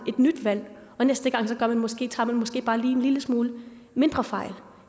nyt valg og næste gang tager man måske bare en lille smule mindre fejl